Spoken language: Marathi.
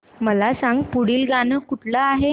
मला सांग पुढील गाणं कुठलं आहे